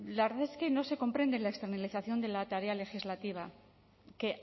la verdad es que no se comprende la externalización de la tarea legislativa que